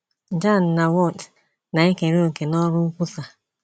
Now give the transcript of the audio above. Jan na Woth, na-ekere òkè n’ọrụ nkwusa.